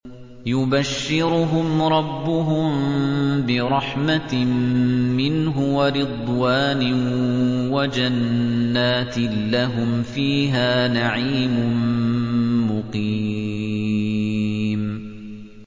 يُبَشِّرُهُمْ رَبُّهُم بِرَحْمَةٍ مِّنْهُ وَرِضْوَانٍ وَجَنَّاتٍ لَّهُمْ فِيهَا نَعِيمٌ مُّقِيمٌ